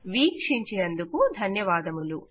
వీక్షించినందుకు ధన్యవాదములు